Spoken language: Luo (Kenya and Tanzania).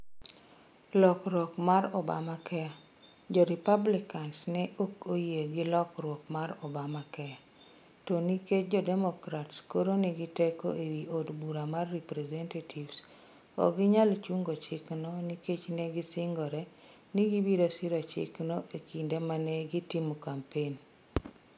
Lokruok mar Obamacare: Jo-Republicans ne ok oyie gi lokruok mar Obamacare. To nikech jo-Democrats koro nigi teko e wi od bura mar representatives, ok ginyal chungo chikno nikech ne gisingore ni gibiro siro chikno e kinde ma ne gitimo kampen.